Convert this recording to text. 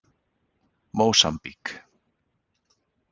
Mósambík